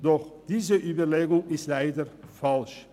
Doch diese Überlegungen sind leider falsch.